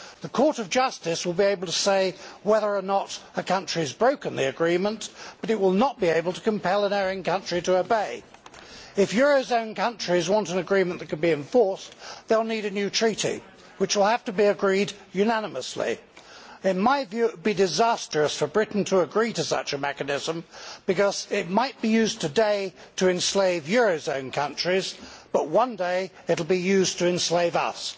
The Court of Justice will be able to say whether or not a country has broken the agreement but it will not be able to compel an erring country to obey. If eurozone countries want an agreement that can be enforced, they will need a new treaty which will have to be agreed unanimously. In my view it would be disastrous for Britain to agree to such a mechanism because it might be used today to enslave eurozone countries but one day it will be used to enslave us.